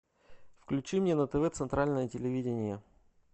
включи мне на тв центральное телевидение